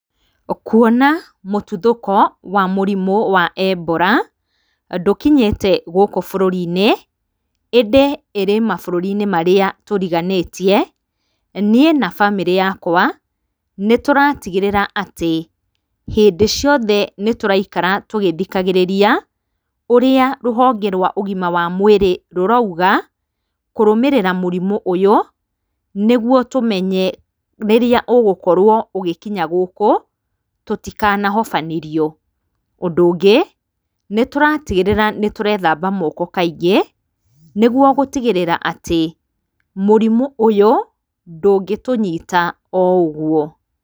Kũona mũtuthũko wa mũrimo wa Ebola ndũkinyĩte gũkũ bũrũrinĩ ĩndĩ ĩrĩ mabũrũri marĩa tũriganĩtie, niĩ na bamĩrĩ yakwa nĩtũratigĩrĩra atĩ hĩndĩ ciothe nĩtũraikara tũgĩthikagĩrĩria ũrĩa rũhonge rwa ũgima wa mwĩrĩ rũrauga kũrũmĩrĩra mũrimũ ũyũ nĩguo tũmenye rĩrĩa ũgũkorwo ũgĩkinya gũkũ tũtikanahofanĩrio ,ũndũ ũngĩ nĩtũratigĩrĩra nĩtũrethamba moko kaingĩ nĩguo gũtigĩrĩra atĩ mũrimũ ũyũ ndũngĩtũnyita oũguo.